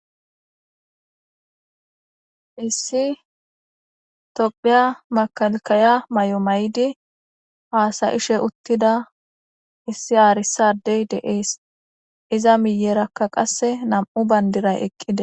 issi tophiya makalkaya may7o may7di haasayishe uttida issi aarisadey deees iza miyerakka qasse nam7u bayndiray eqqide